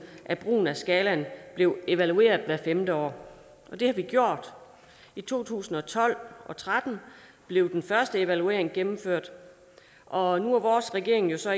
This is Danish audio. at brugen af skalaen blev evalueret hvert femte år og det har vi gjort i to tusind og tolv og tretten blev den første evaluering gennemført og nu er vores regering jo så